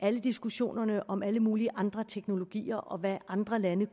alle diskussionerne om alle mulige andre teknologier og hvad andre lande